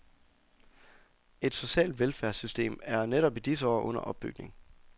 Et socialt velfærdssystem er netop i disse år under opbygning.